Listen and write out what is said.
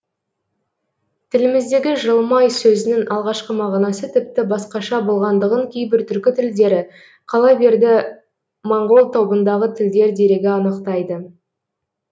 тіліміздегі жылмай сөзінің алғашқы мағынасы тіпті басқаша болғандығын кейбір түркі тілдері қала берді моңғол тобындағы тілдер дерегі анықтайды